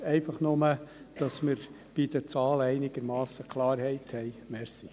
Dies nur, damit wir bei den Zahlen einigermassen Klarheit haben.